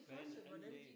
Baneanlæg